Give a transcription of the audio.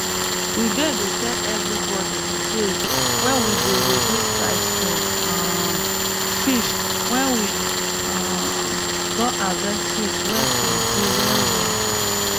we dey dey tell evribodi d days wey we go reduce price for um fish wen we um don harvest fish wey plenty well well